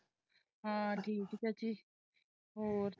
ਹਾਂ ਠੀਕ ਚਾਚੀ ਹੋਰ।